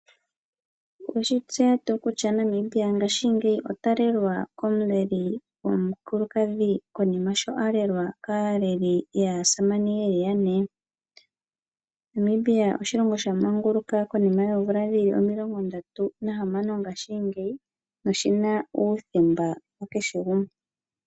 Oweshi tseya tu kutya Namibia ngashi ngeyi ota lelwa ko muleli gomukulukadhi konima sho alelwa kaleli yaasamane yeli yane. Namibia oshilongo shamanguluka konima yoomvula dhili omilongo 36 ngashi ngeyi noshina uuthemba wa kehe gumwe.